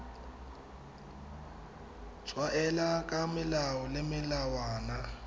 tshwaela ka melao le melawana